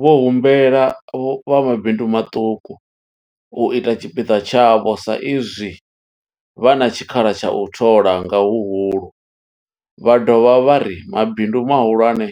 Vho humbela vha mabindu maṱuku u ita tshipiḓa tshavho sa izwi vha na tshikhala tsha u thola nga huhulu, vha dovha vha ri mabindu mahulwane